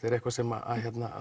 er eitthvað sem